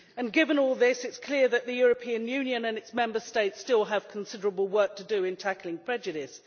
Given all this, it is clear that the European Union and its Member States still have considerable work to do in tackling prejudice.